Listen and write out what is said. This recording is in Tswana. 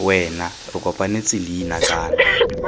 wena re kopanetse leina kana